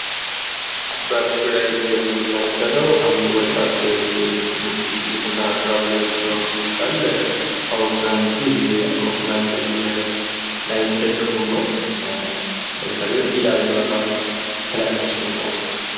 በምስሉ ላይ የምንመለከተው አንድ ወጣት እንግዲህ የፈጠራ ስራ ብሎ የሰራው ይመስላል። አውሮፕላን ትንሽዬ አውሮፕላን የምትመስል ነገር ላይ ተደግፎ ነው። የሚታየው ኢ ደብሊዉ 13 ትላለች ጽሑፏ።